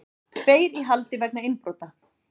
Tveir í haldi vegna innbrota